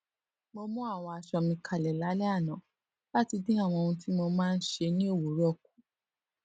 mo mú àwọn aṣọ mi kalè lálé àná láti dín àwọn ohun tí mo máa n ṣe ní òwúrò kù